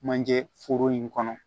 Manje foro in kɔnɔ